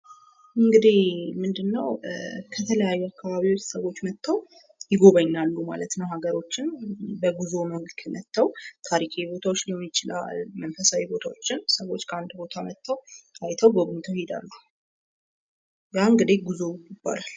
እንግድህ ምንድን ነው? ከተለያዩ አካባቢወች ሰወች መጥተው ይጎባኛሉ ማለት ነው። ሀገሮችን በጉዞ መልክ መጥተው ታሪካዊ ቦታወች ሊሆን ይችላል፤ መንፈሳዊ ቦታወችን ሰወች ከአንድ ቦታ መጥተው አይተው፣ ጎብኝተው ሊሄዱ ይችላሉ። ያ እንግድህ ጉዞ ይባላል።